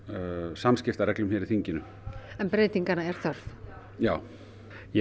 samskiptareglum hér í þinginu en breytinganna er þörf já ég